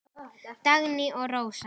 Dagný og Rósa.